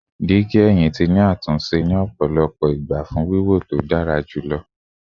Digi ẹhin ti ni atunṣe ni ọpọlọpọ igba fun wiwo to dara julọ